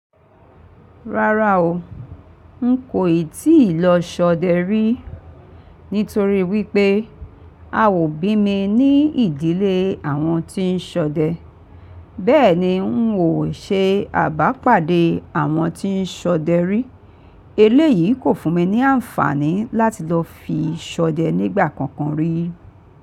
Rárá o, n kò ì tíì lọ ṣọdẹ rí, nítorí wípé a ò bí mi ní ìdílé àwọn tí ń ṣọdẹ. Bẹ́ẹ̀ ni, n ò ṣe àbápàdé àwọn tí ń ṣọdẹ rí. Eléyìí kò fún mi ní àǹfààní láti lọ fi ṣọdẹ nígbà kankan rí.